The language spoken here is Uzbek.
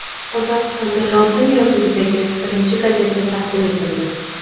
Qozog‘istonda lotin yozuvidagi birinchi gazeta taqdim etildi.